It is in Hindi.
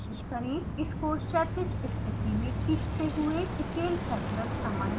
इसको क्षैतिज स्थिति में खींचते हुए scale factor समायोजित करें